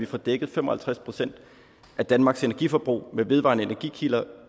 får dækket fem og halvtreds procent af danmarks energiforbrug med vedvarende energikilder